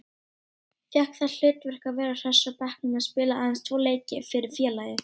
Fékk það hlutverk að vera hress á bekknum og spilaði aðeins tvo leiki fyrir félagið.